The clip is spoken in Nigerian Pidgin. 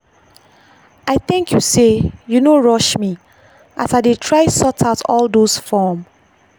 i thank you sey you no rush me as i dey try sort out all those form.